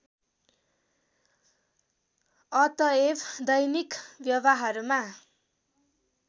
अतएव दैनिक व्यवहारमा